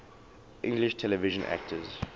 english television actors